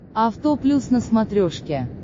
авто плюс на смотрешке